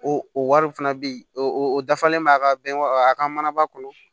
O o wariw fana bɛ yen o dafalen b'a ka bɛn a ka mana ba kɔnɔ